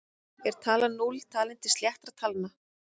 Er talan núll talin til sléttra talna?